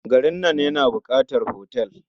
Garin nan yana buƙatar otal.